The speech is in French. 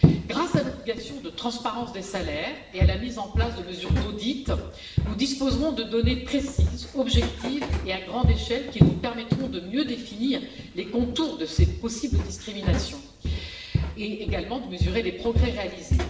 Grâce à l'obligation de transparence des salaires et à la mise en place de mesures d'audit, nous disposerons de données précises, objectives et à grande échelle qui nous permettront de mieux définir les contours de ces possibles discriminations et également de mesurer les progrès réalisés.